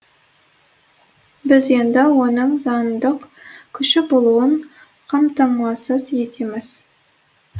біз енді оның заңдық күші болуын қамтамасыз етеміз